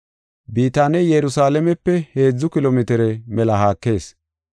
Bitaaney Yerusalaamepe heedzu kilo mitire mela haakees.